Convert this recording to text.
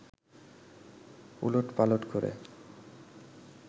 'উলট-পালট করে